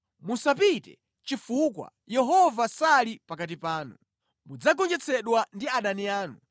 Musapite chifukwa Yehova sali pakati panu. Mudzagonjetsedwa ndi adani anu